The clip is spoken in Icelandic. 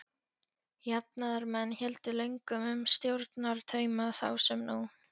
Jafnaðarmenn héldu löngum um stjórnartauma þá sem nú.